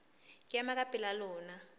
ke ema ka pela lona